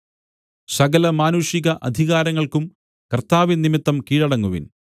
സകല മാനുഷിക അധികാരങ്ങൾക്കും കർത്താവിൻ നിമിത്തം കീഴടങ്ങുവിൻ